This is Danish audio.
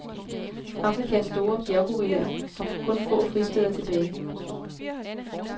Afrikas store bjerggorillaer har kun få fristeder tilbage.